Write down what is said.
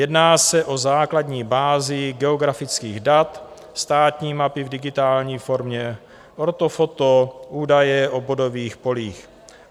Jedná se o základní bázi geografických dat, státní mapy v digitální formě, ortofoto, údaje o bodových polích.